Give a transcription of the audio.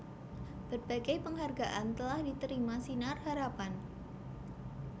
Berbagai penghargaan telah diterima Sinar Harapan